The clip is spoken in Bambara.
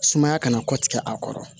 Sumaya kana kɔ tigɛ a kɔrɔ